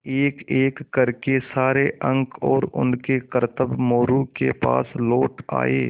एकएक कर के सारे अंक और उनके करतब मोरू के पास लौट आये